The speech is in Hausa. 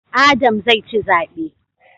Adam zai ci zabe